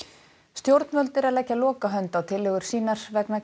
stjórnvöld eru að leggja lokahönd á tillögur sínar vegna